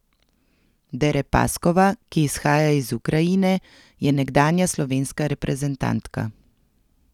Derepaskova, ki izhaja iz Ukrajine, je nekdanja slovenska reprezentantka.